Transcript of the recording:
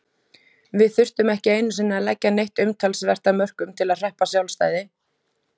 Við þurftum ekki einusinni að leggja neitt umtalsvert af mörkum til að hreppa sjálfstæði.